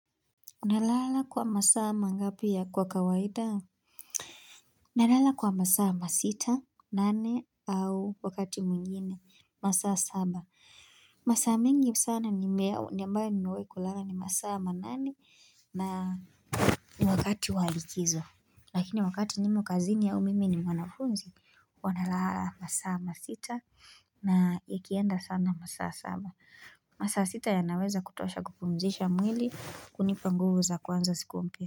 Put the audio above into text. Nalala kwa masaa mangapi ya kwa kawaida? Nalala kwa masaa masita, nane, au wakati mwingine. Masaa saba. Masaa mingi sana nimew ambayo nimewai kulala ni masaa manane na ni wakati walikizo. Lakini wakati nimo kazini ya mimi ni mwanafunzi huwa nalala masaaa masita na kienda sana masaa saba. Masaa sita yanaweza kutosha kupumzisha mwili kunipa nguvu za kuanza siku mpya.